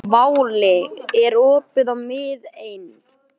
Ragnhildi tókst að læðast meðfram veggnum niður stigann.